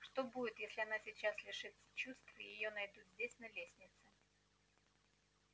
что будет если она сейчас лишится чувств и её найдут здесь на лестнице